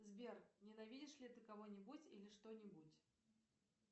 сбер ненавидишь ли ты кого нибудь или что нибудь